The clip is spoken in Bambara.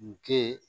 N ke